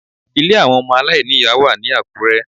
Ilé àwọn ọmọ aláìní ìyá wà ní Àkúrẹ́